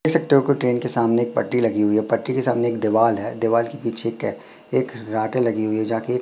देख सकते हो की ट्रेन के सामने एक पटरी लगी हुई है। पटरी के सामने एक दीवाल है दीवाल के पीछे के एक रॉड लगी हुई जाके --